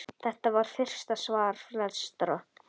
Þetta var fyrsta svar flestra?